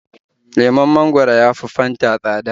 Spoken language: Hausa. Lemon mangwaro ya fi Fanta tsada.